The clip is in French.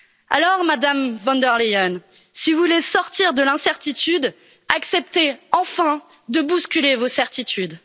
Alors, Madame von der Leyen, si vous voulez sortir de l'incertitude, acceptez enfin de bousculer vos certitudes.